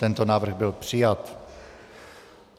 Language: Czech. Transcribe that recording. Tento návrh byl přijat.